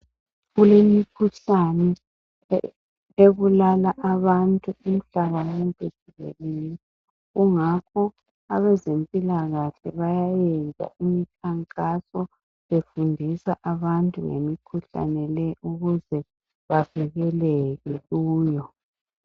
Kulemikhuhlane ebulala abantu umhlaba wonke jikelele kungakho abezempilakahle bayayenza imikhankaso befundisa abantu ngemikhuhlane leyi ukuze bavikeleke kuyo